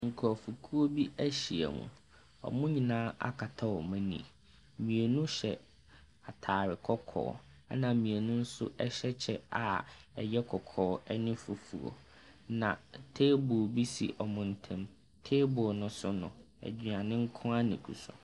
Nkurofoɔkuo bi ahyiam. Ɔmo nyinaa akata ɔmo ani. Mmienu hyɛ atare kɔkɔɔ. Ɛna mmienu nso ɛhyɛ kyɛ a ɛyɛ kɔkɔɔ ɛne fufuo. Na teebol bi si ɔmo ntam. Teebol no so no, aduane nkoaa na egu so.